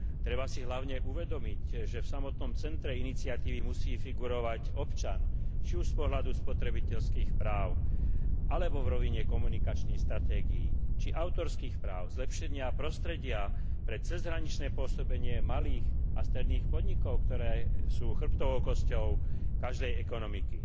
Treba si hlavne uvedomiť, že v samotnom centre iniciatívy musí figurovať občan, či už z pohľadu spotrebiteľských práv alebo v rovine komunikačných stratégií či autorských práv, zlepšenia prostredia pre cezhraničné pôsobenie malých a stredných podnikov, ktoré sú chrbtovou kosťou každej ekonomiky.